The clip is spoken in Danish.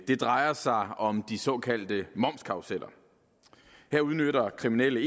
det drejer sig om de såkaldte momskarruseller her udnytter kriminelle